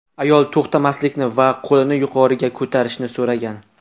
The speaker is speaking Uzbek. Ayol to‘xtamaslikni va qo‘lini yuqoriga ko‘tarishni so‘ragan.